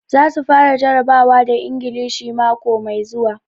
Za su fara jarabawa da Ingilishi mako mai zuwa.